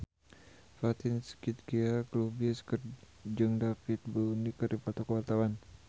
Fatin Shidqia Lubis jeung David Bowie keur dipoto ku wartawan